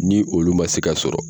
Ni olu ma se ka sɔrɔ.